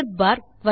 error bar